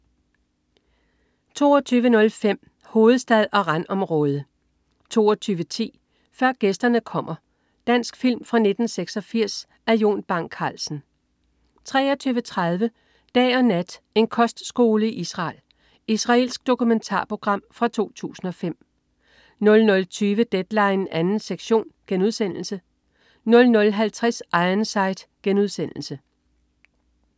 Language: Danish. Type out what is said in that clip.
22.05 Hovedstad og randområde 22.10 Før Gæsterne Kommer. Dansk film fra 1986 af Jon Bang Carlsen 23.30 Dag og nat. en kostskole i Israel. Israelsk dokumentarprogram fra 2005 00.20 Deadline 2. sektion* 00.50 Ironside*